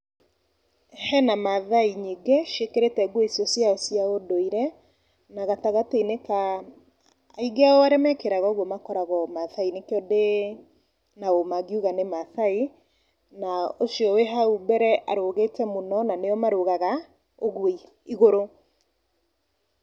Hena mathai nyingĩ ciĩkĩrĩte nguo icio ciao cia ũndũire, na gatagatĩ-inĩ ka, aingĩ arĩa mekĩraga nguo icio makoragwo Mathai, nĩkio ndĩ na ũma ngĩuga nĩ mathai, na ũcio wĩ hau mbere aũgĩte mũno na nio marũgaga, ũguo igũrũ.